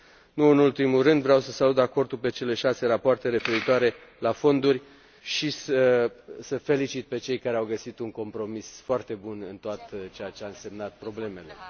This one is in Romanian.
Nu în ultimul rând, vreau să salut acordul privind cele șase rapoarte referitoare la fonduri și să îi felicit pe cei care au găsit un compromis foarte bun în tot ceea ce au însemnat problemele.